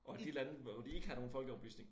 Og de lande hvor de ikke har nogen folkeoplysning